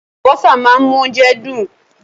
Àlùbọ́sà máa ń mú oúnjẹ dùn.